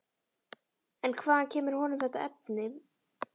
En hvaðan kemur honum þetta efni?